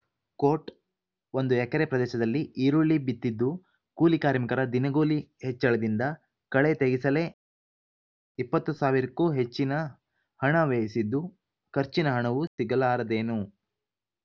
coat ಒಂದು ಎಕರೆ ಪ್ರದೇಶದಲ್ಲಿ ಈರುಳ್ಳಿ ಬಿತ್ತಿದ್ದು ಕೂಲಿಕಾರ್ಮಿಕರ ದಿನಗೂಲಿ ಹೆಚ್ಚಳದಿಂದ ಕಳೆ ತೆಗೆಸಲೇ ಇಪ್ಪತ್ತು ಸಾವಿರಕ್ಕೂ ಹೆಚ್ಚಿನ ಹಣ ವ್ಯಯಿಸಿದ್ದು ಖರ್ಚಿನ ಹಣವೂ ಸಿಗಲಾರದೇನೋ